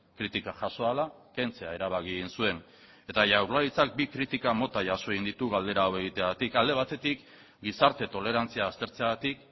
kritika jaso ahala kentzea erabaki egin zuen eta jaurlaritzak bi kritika mota jaso egin ditu galdera hau egiteagatik alde batetik gizarte tolerantzia aztertzeagatik